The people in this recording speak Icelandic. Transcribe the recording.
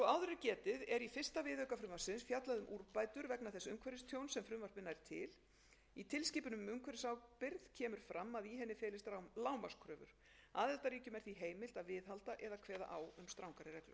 umhverfistjóns sem frumvarpið nær til í tilskipun um umhverfisábyrgð kemur fram að í henni felist lágmarkskröfur aðildarríkjum er því heimilt að viðhalda eða kveða á um strangari reglur almennt eru gerðar sömu kröfur